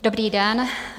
Dobrý den.